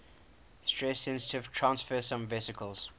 stress sensitive transfersome vesicles